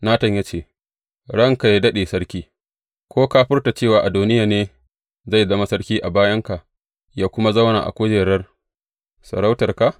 Natan ya ce, Ranka yă daɗe, sarki, ko ka furta cewa Adoniya ne zai zama sarki a bayanka, yă kuma zauna a kujerar sarautarka?